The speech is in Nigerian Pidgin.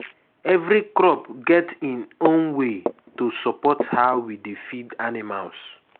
every crop get im own way to support how we dey feed animals.